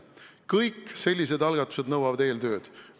Kõik sellised algatused nõuavad eeltööd.